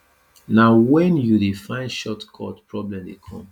na wen you dey find short cut problem dey come